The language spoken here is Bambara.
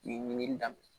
Nin ɲinini daminɛ